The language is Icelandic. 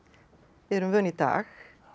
erum vön í dag hún